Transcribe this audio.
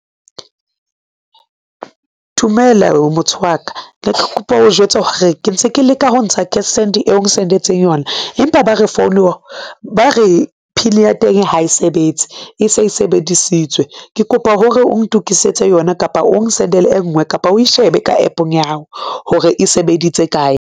Dumela motho waka, ne ke kopa ho jwetsa hore ke ntse ke leka ho ntsha Cash Send eo n-sendetseng yona. Empa ba re pin ya teng ha e sebetse e se e sebedisitswe, ke kopa hore o ntokisetse yona kapa o n-send-ele e ngwe kapa o e shebe ka App-ong ya hao hore e sebeditse kae.